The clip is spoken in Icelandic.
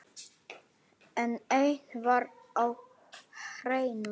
En eitt var á hreinu.